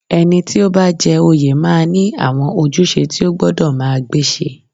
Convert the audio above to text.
Ẹni tó bá jẹ oyè máa ní àwọn ojúṣe tí o gbọ́dọ̀ máa gbéṣe